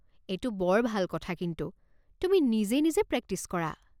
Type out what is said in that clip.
এইটো বৰ ভাল কথা কিন্তু, তুমি নিজে নিজে প্ৰক্টিচ কৰা।